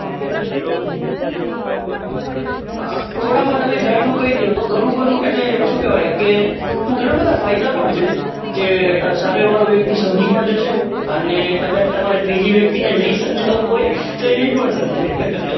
થોડા માં તમે જાજુ કહી દો તો ઘણું બધું એટલે ઘણાં બધા ફાયદા પણ છે કે સામે વાળો વ્યક્તિ સમજી પણ જશે અને કદાચ તમારે ત્રીજી વ્યક્તિ ને નહિ સમાંજ્વવું હોય તો એ નહિ પણ સમજે.